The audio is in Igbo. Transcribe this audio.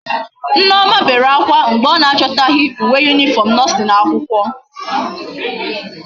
Nneoma bere akwa mgbe o na achotaghi uwe uniform nursing akwukwo